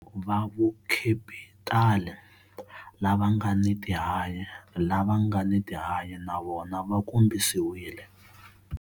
Va vukhepitali lava nga ni tihanyi, lava nga ni tihanyi na vona va kombisiwile.